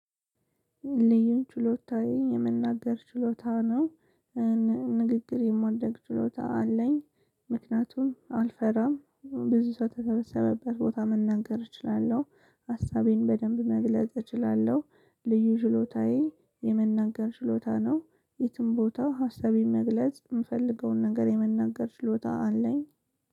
ልዩ ችሎታዬ የመናገር ችሎታ ነው። ንግግር የማድረግ ችሎታ አለኝ። ምክንያቱም አልፈራም ብዙ ሰው በተሰበሰበበት ቦታ መናገር እችላለሁ ሀሳቤን በደንብ መግለጽ እችላለሁ። ልዩ ችሎታዬ የመናገር ችሎታ ነው። የትም ቦታ ሀሳቤን መግለጽ የምፈልገውን ነገር የመናገር ችሎታ አለኝ።